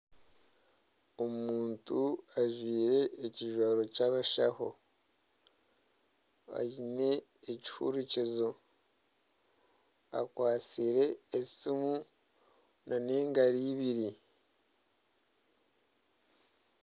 Omuntu ajwaire ekijwaro ky'abashaho aine ekihuurikizo akwatsire esiimu n'engaro ibiri.